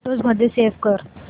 photos मध्ये save कर